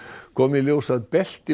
kom í ljós að belti